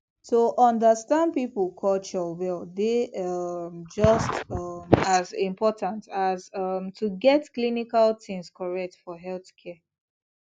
to understand people culture well dey um just um as important as um to get clinical things correct for healthcare